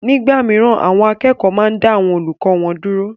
Nígbà mìíràn àwọn akẹ́kọ̀ọ́ máa ń dá àwọn olùkọ́ wọn dúró